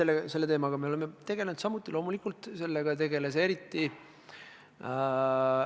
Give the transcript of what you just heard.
Jaa, selle teemaga me oleme samuti loomulikult tegelenud.